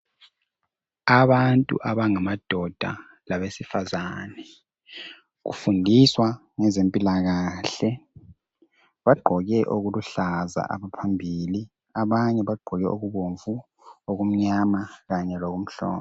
abantu abangamadoda labesifazane kufundiswa ngezempilakahle bagqoke okuluhlaza phambili abanye bagqoke okubomvu okumnyama kanye lokumhlophe